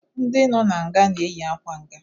Ndị nọ n'nga na-eyi akwa nga